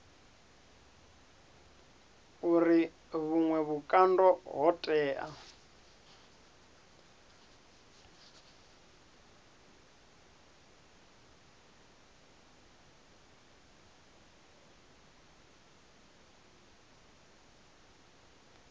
uri vhuṅwe vhukando ho tea